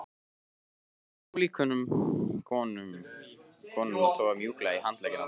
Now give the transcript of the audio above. Fann ókunnu konuna toga mjúklega í handlegginn á mér